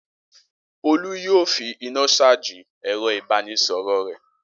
Olú yóò fi iná ṣájì ẹ̀rọ-ìbánisọ̀rọ̀ rẹ̀.